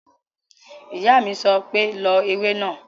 Ìyá mi sọ pé "lọ ewé náà!"